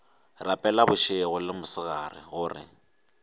rapela bošego le mosegare gore